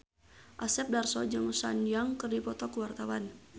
Asep Darso jeung Sun Yang keur dipoto ku wartawan